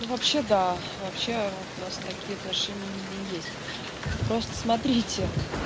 ну вообще да вообще вот у нас такие отношения именно есть просто смотрите